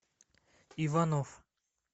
иванов